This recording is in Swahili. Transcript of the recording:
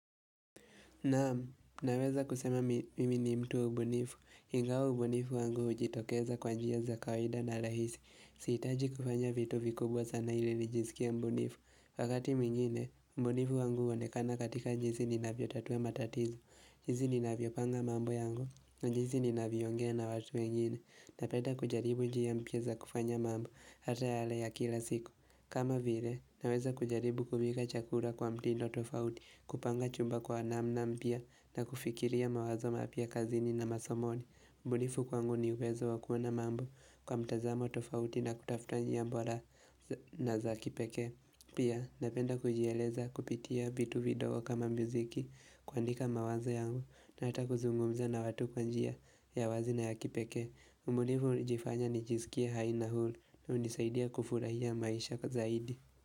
Naam, naweza kusema mimi ni mtu wa ubunifu, ingawa ubunifu wangu hujitokeza kwa njia za kawaida na rahisi, sihitaji kufanya vitu vikubwa sana ili nijiskie mbunifu, wakati mwingine ubunifu wangu huonekana katika jinsi ninavyotatua matatizo, jinsi ninavyopanga mambo yangu, jinsi ninavyoongea na watu wengine, na penda kujaribu njia mpya za kufanya mambo hata yale ya kila siku kama vile naweza kujaribu kupika chakula kwa mtindo tofauti kupanga chumba kwa namna mpya na kufikiria mawazo mapya kazini na masomoni ubunifu kwangu ni uwezo wa kuona mambo kwa mtazamo tofauti na kutafuta njia bora na za kipekee Pia napenda kujieleza kupitia vitu vidogo kama miziki kuandika mawazo yangu na hata kuzungumza na watu kwa njia ya wazi na ya kipekee ubunifu hunifanya nijisikie hai na huru na hunisaidia kufurahia maisha zaidi.